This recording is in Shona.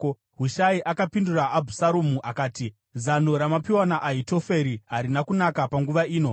Hushai akapindura Abhusaromu akati, “Zano ramapiwa naAhitoferi harina kunaka panguva ino.